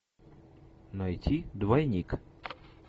найти двойник